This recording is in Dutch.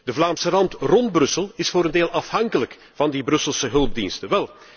De Vlaamse Rand rond Brussel is voor een deel afhankelijk van die Brusselse hulpdiensten.